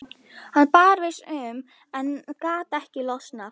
Hann barðist um en gat ekki losnað.